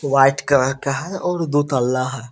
White colour का है और दूतल्ला है।